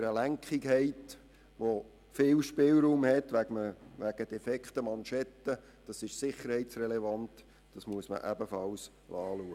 Oder wenn Sie eine Lenkung haben, die viel Spielraum infolge defekter Manschetten hat, dann ist das sicherheitsrelevant und muss ebenfalls kontrolliert werden.